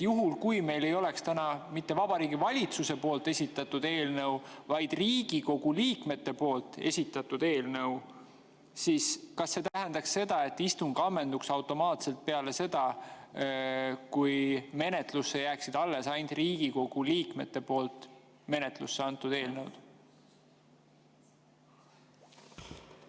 " Juhul, kui meil ei oleks täna mitte Vabariigi Valitsuse esitatud eelnõu, vaid Riigikogu liikmete esitatud eelnõu, siis kas see tähendaks seda, et istung ammenduks automaatselt peale seda, kui menetlusse jääksid alles ainult Riigikogu liikmete menetlusse antud eelnõud?